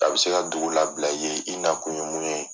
A bɛ se ka dugu labila ye i na kun ye mun ye.